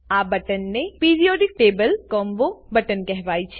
આ બટન ને periodic table combo button કહેવાય છે